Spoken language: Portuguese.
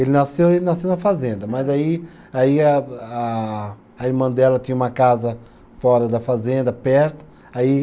Ele nasceu, ele nasceu na fazenda, mas aí, aí a a irmã dela tinha uma casa fora da fazenda, perto, aí